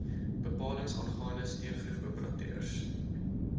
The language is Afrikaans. bepalings aangaande steengroefoperateurs